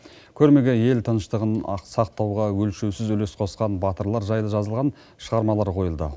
көрмеге ел тыныштығын сақтауға өлшеусіз үлес қосқан батырлар жайлы жазылған шығармалар қойылды